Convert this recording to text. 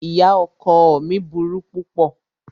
Ìyá ọkọ ọ mí burú púpọ̀.